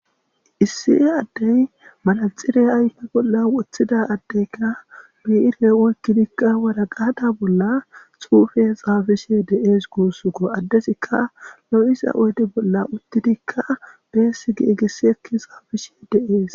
issi addey malaxire ayfa bolla wothida addeyka biire oykkidikka wara gaada bolla xuufe xaafishe deees guussuko addesikka lo7isa oyde bolla uttidikka beessi gi egisi ekki xaafishe deees